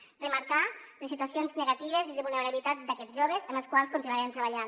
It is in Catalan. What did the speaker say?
cal remarcar les situacions negatives i de vulnera·bilitat d’aquests joves amb els quals continuarem treballant